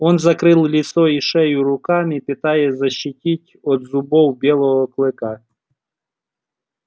он закрывал лицо и шею руками пытаясь защититься от зубов белого клыка